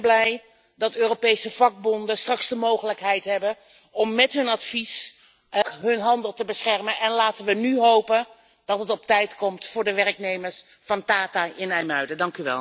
En ik ben blij dat Europese vakbonden straks de mogelijkheid hebben om met hun advies ook hun handel te beschermen. Laten we nu hopen dat het op tijd komt voor de werknemers van Tata in IJmuiden.